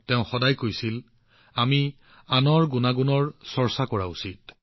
তেওঁ সদায় কৈছিল যে আমি আনৰ গুণাগুণৰ উপাসনা কৰা উচিত